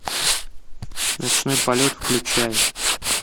ночной полет включай